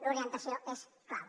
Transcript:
l’orientació és clau